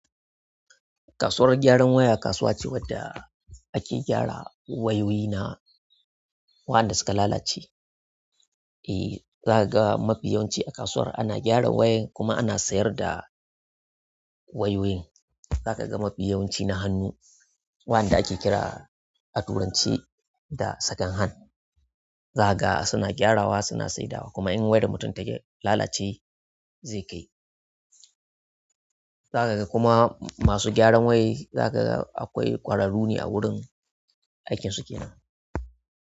Kasuwar gyaran waya kasuwa ce wadda ake gyara wayoyi na wa, anda suka lalace. Eh, zaka ga mafiyanci a kasuwar ana gyara wayan kuma ana sayar da wayoyin. Zaka ga mafiyawanci na hannu wa, anda ake kira a turanci da "second hand". Zakaga suna gyara wa suna saida wa kuma in wayan mutum ta lalace zai kai. Zaka ga kuma masu gyaran wayai za ka ga akwai ƙwararru ne a wurin aikin su kenan.